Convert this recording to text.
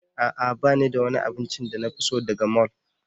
A'a ba ni da wani abincin da na fi so daga mall.